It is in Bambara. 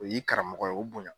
O y'i karamɔgɔ ye o bonya